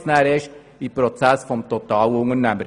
Erst danach beginnt der Prozess mit dem Totalunternehmer.